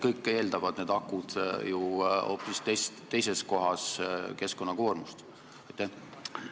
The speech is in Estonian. Kõik need akud eeldavad ju keskkonnakoormust hoopis teises kohas.